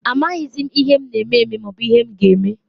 Amaghịzị m ihe na eme eme, maobu ihe m ga eme.